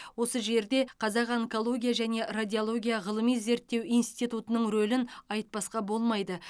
осы жерде қазақ онкология және радиология ғылыми зерттеу институтының рөлін айтпасқа болмайды